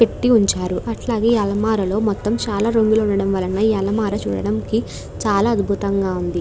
పెట్టి ఉంచారు అట్లాగే ఈ అలమరలో మొత్తం చాలా రంగులు ఉండడం వలన ఈ అలమర చూడడంకి చాలా అద్భుతంగా ఉంది.